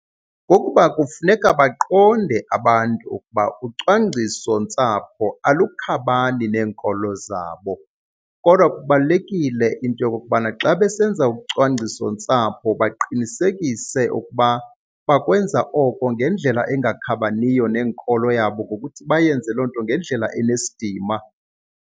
Kukuba kufuneka baqonde abantu ukuba ucwangcisontsapho alukhabani neenkolo zabo. Kodwa kubalulekile into yokokubana xa besenza ucwangcisontsapho baqinisekise ukuba bakwenza oko ngendlela engakhabaniyo nenkolo yabo ngokuthi bayenze loo nto ngendlela enesidima.